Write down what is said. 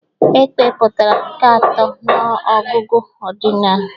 Èkpè pụtara nke atọ n'ọgụgụ ọdịnal.